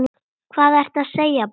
Hvað ertu að segja barn?